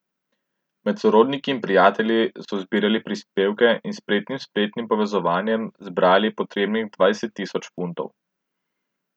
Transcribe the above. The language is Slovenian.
Med sorodniki in prijatelji so zbirali prispevke in s spretnim spletnim povezovanjem zbrali potrebnih dvajset tisoč funtov.